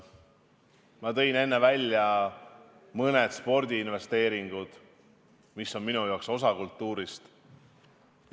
Ma tõin enne esile mõned spordiinvesteeringud, mis on minu arvates samuti osa kultuurist.